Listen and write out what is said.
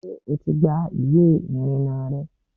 ṣé o ti gba ìwé ìrìnnà rẹ?